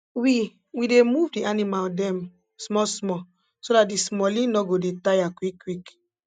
we we dey move d animal dem small small so dat d smallie nor go dey tire quick quick